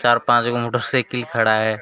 चार पांच गो मोटरसाइकिल खड़ा हे।